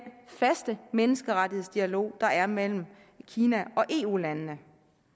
faste menneskerettighedsdialog der er mellem kina og eu landene